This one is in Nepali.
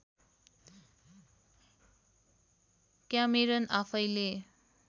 क्यामेरन आफैँले